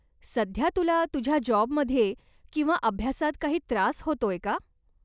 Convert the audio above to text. सध्या तुला तुझ्या जॉबमध्ये किंवा अभ्यासात काही त्रास होतोय का?